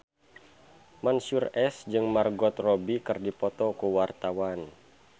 Mansyur S jeung Margot Robbie keur dipoto ku wartawan